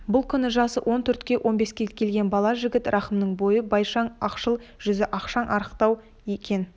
бұл күнде жасы он төрт он беске келген бала жігіт рахымның бойы бойшаң ақшыл жүзі ашаң арықтау екен